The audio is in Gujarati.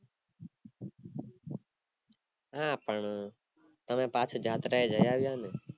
હા પણ તમે પાછા જાત્રા એ જાય આવ્યા ને